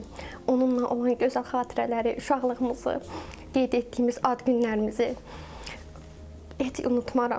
onunla olan gözəl xatirələri, uşaqlığımızı, qeyd etdiyimiz ad günlərimizi heç unutmaram.